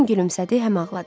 Həm gülümsədi, həm ağladı.